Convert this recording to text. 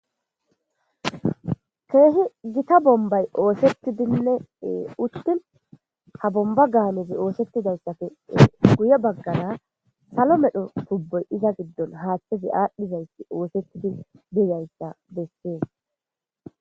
Kehi gitta bombayi oththetidinne uttin ha bombba ganney oththetidayissappe guye baggara salo medho tubboyi iza giddon haththezi adhdhizayisi oththetidi dizzayisa besess.